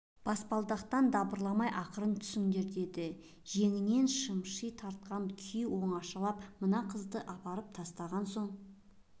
баспалдақпен дабырламай ақырын түсіңдер деді жеңінен шымши тартқан күй оңашалап мына қызды апарысып тастаған соң